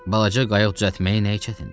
Balaca qayıq düzəltməyin nəyi çətindir?